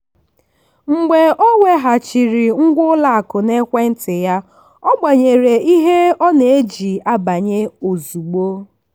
mgbe ọ weghachiri ngwa ụlọakụ n'ekwentị ya ọ gbanwere ihe ọ na-eji banye ozugbo.